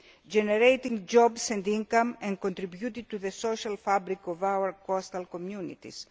vessels, generating jobs and income, and contributing to the social fabric of our coastal communities.